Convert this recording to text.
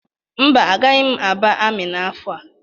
Mba, agaghị m aba amị n'afọ a.